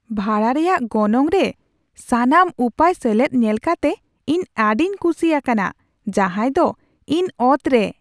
ᱵᱷᱟᱲᱟ ᱨᱮᱭᱟᱜ ᱜᱚᱱᱚᱝ ᱨᱮ ᱥᱟᱱᱟᱢ ᱩᱯᱟᱹᱭ ᱥᱮᱞᱮᱫ ᱧᱮᱞ ᱠᱟᱛᱮ ᱤᱧ ᱟᱹᱰᱤᱧ ᱠᱩᱥᱤ ᱟᱠᱟᱱᱟ ᱾ ᱡᱟᱦᱟᱭ ᱫᱚ ᱤᱧ ᱚᱛᱨᱮ !